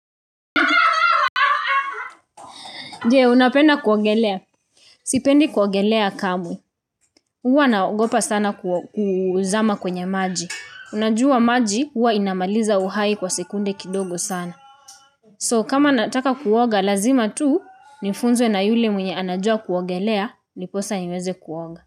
Jee, unapenda kuogelea. Sipendi kuogelea kamwe. Uwa naogopa sana kuzama kwenye maji. Unajua maji, huwa inamaliza uhai kwa sekunde kidogo sana. So, kama nataka kuoga lazima tu, nifunzwe na yule mwenye anajua kuogelea, niposa niweze kuoga.